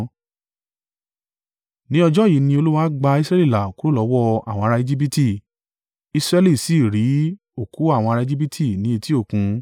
Ni ọjọ́ yìí ni Olúwa gba Israẹli là kúrò lọ́wọ́ àwọn ará Ejibiti; Israẹli sì rí òkú àwọn ará Ejibiti ni etí òkun.